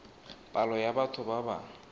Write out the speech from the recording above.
palo ya batho ba ba